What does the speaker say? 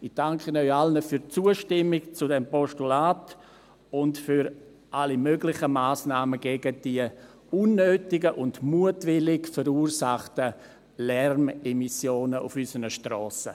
Ich danke Ihnen allen für die Zustimmung zu diesem Postulat und für alle möglichen Massnahmen gegen diese unnötigen und mutwillig verursachten Lärmemissionen auf unseren Strassen.